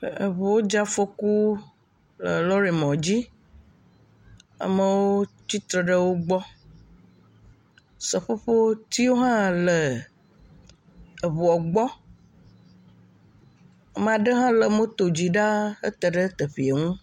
Ŋuwo dze afɔku le lɔrimɔ dzi. Amewo tsitre ɖe wo gbɔ. Seƒoƒotsiwo hã le ŋua gbɔ. Ame aɖe hã le moto dzi ɖaa hete ɖe teƒea ŋu.